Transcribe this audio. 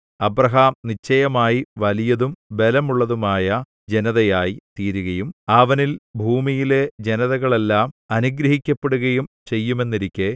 Abraham നിശ്ചയമായി വലിയതും ബലമുള്ളതുമായ ജനതയായി തീരുകയും അവനിൽ ഭൂമിയിലെ ജനതകളെല്ലാം അനുഗ്രഹിക്കപ്പെടുകയും ചെയ്യുമെന്നിരിക്കെ